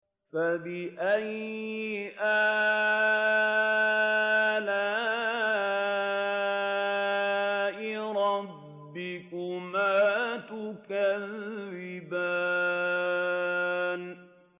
فَبِأَيِّ آلَاءِ رَبِّكُمَا تُكَذِّبَانِ